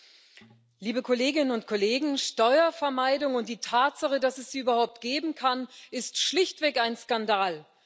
Frau Präsidentin, liebe Kolleginnen und Kollegen! Steuervermeidung und die Tatsache, dass es sie überhaupt geben kann, ist schlichtweg ein Skandal.